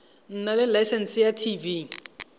nna le laesense ya tv